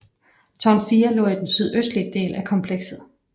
Tårn 4 lå i den sydøstlige del af komplekset